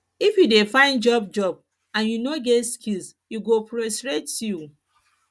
if you dey find job job and you no get skills e go frustrate you